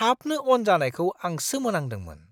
थाबनो अन जानायखौ आं सोमोनांदोंमोन!